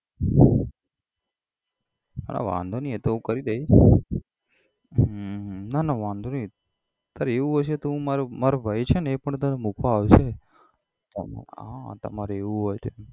હા વાંધો નઈ એતો હું કરી દઈશ હમ હમ ના ના વાંધો નઈ તારે એવું હશે તો મારો મારો ભાઈ છે ને એ પણ તને મુકવા આવશે હા તમારે એવું હોય તો એમ